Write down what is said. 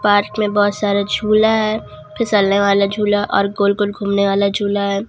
Park में बहुत सारे झूला है फिसलने वाला झूला और गोल-गोल घूमने वाला झूला है।